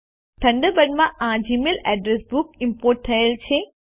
થન્ડરબર્ડમાં આ Gmail address book import થયેલ છે